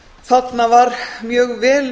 þarna var mjög vel